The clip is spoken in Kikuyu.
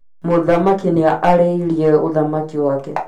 Mũthamaki nĩ arĩirie ũthamaki wake